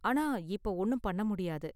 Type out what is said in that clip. ஆனா, இப்ப ஒண்ணும் பண்ண முடியாது.